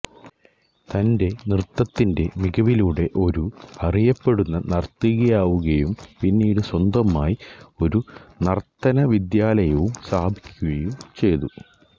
തന്റെ നൃത്തത്തിന്റെ മികവിലൂടെ ഒരു അറിയപ്പെടുന്ന നർത്തകിയാവുകയും പിന്നീറ്റ് സ്വന്തമായി ഒരു നർത്തന വിദ്യാലയവും സ്ഥാപിക്കുകയും ചെയ്തു